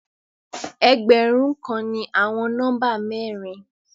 Ẹgbẹ̀ẹgbẹ̀run kàn ni àwọn nọ́mbà mẹ̀rìn.